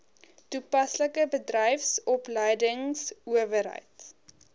toe paslike bedryfsopleidingsowerheid